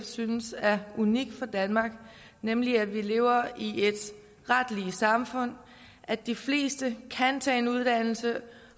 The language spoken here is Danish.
synes er unikt for danmark nemlig at vi lever i et ret lige samfund at de fleste kan tage en uddannelse